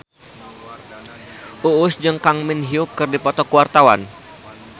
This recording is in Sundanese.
Uus jeung Kang Min Hyuk keur dipoto ku wartawan